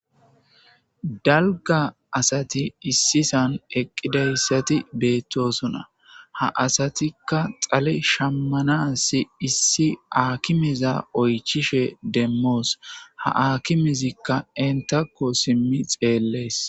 Dalga asati issisan eqqidayssati beettosuna ha asatikka xale shammana si issi aakimeza oychishe demmoos ha akimezikka entakko simmi xeellees.